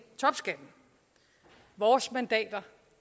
topskatten vores mandater